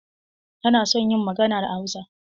Tana son yin magana da Hausa.